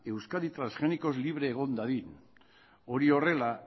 euskadi transgenikoz libre egon dadin hori horrela